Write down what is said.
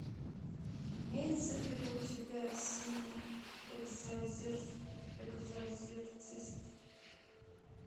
имеется ли у тебя синий экзорцист